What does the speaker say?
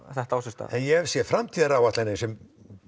þetta á sér stað ég hef séð framtíðaráætlanir sem